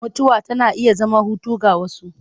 Mutuwa tana iya zama hutu ga wasu.